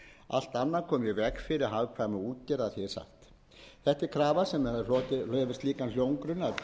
allt annað komi í veg fyrir hagkvæma útgerð er sagt þetta er krafa sem hlotið hefur slíkan hljómgrunn